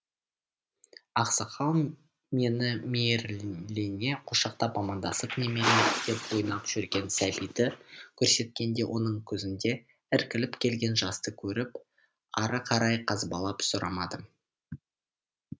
ақсақал мені мейірлене құшақтап амандасып немерем деп ойнап жүрген сәбиді көрсеткенде оның көзінде іркіліп келген жасты көріп ары қарай қазбалап сұрамадым